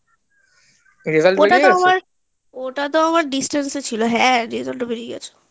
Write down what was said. ওটাতো আমার distance এ ছিলো হ্যাঁ result বেরিয়ে গেছে